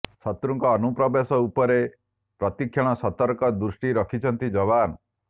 ଶତ୍ରୁଙ୍କ ଅନୁପ୍ରବେଶ ଉପରେ ପ୍ରତି କ୍ଷଣ ସତର୍କ ଦୃଷ୍ଟି ରଖିଛନ୍ତି ଯବାନ